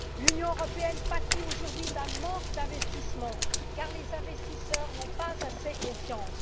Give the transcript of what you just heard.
L'Union européenne pâtit aujourd'hui d'un manque d'investissements car les investisseurs n'ont pas assez confiance.